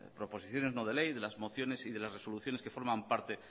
proposiciones de no ley de las mociones y de las resoluciones que forman parte